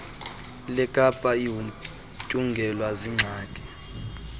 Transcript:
lekapa igutyungelwe ziingxaki